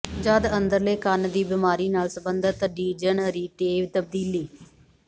ਜਦ ਅੰਦਰਲੇ ਕੰਨ ਦੀ ਬਿਮਾਰੀ ਨਾਲ ਸਬੰਧਤ ਡੀਜਨਰੇਿਟਵ ਤਬਦੀਲੀ